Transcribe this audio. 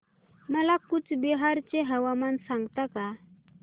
मला कूचबिहार चे हवामान सांगता का